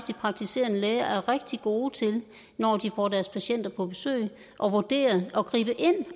de praktiserende læger er rigtig gode til når de får deres patienter på besøg at vurdere og gribe ind